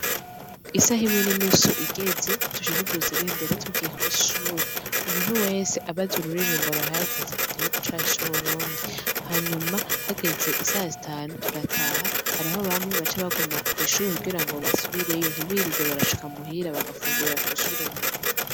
Isaha imwe n'inusu igeze tuca tuduza ibendera tugiye kw'ishure, umuntu wese aba azi ururirimbo ruhayagiza igihugu cacu c'uburundi, hanyuma hageze isaha zitanu turataha, hariho bamwe baca baguma kw'ishure kugirango basubireyo ntibirirwe barashika muhira ,bagafungurira kw'ishure nyene.